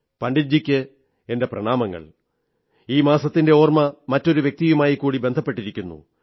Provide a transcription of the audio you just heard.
പണ്ഡിറ്റ്ജിക്കു പ്രണാമങ്ങൾ ഈ മാസത്തിന്റെ ഓർമ്മ മറ്റൊരു വ്യക്തിയുമായിക്കൂടി ബന്ധപ്പെട്ടിരിക്കുന്നു